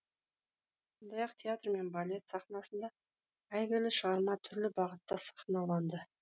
сондай ақ театр мен балет сахнасында әйгілі шығарма түрлі бағытта сахналанды